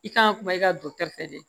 I kan ka kuma i ka dɔkitɛri fɛ dɛ